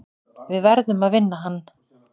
Við verðum að vinna hann.